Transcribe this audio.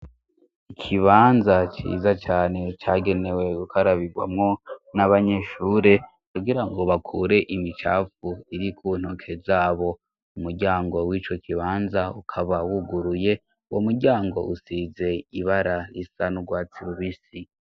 Ikibanza ciza cane cagenewe ukarabirwamwo n'abanyishure kugira ngo bakure imicafu iri kuntoke zabo umuryango w'ico kibanza ukabawuguruye wo muryango usize ibara risa n'urwa tsilubisi.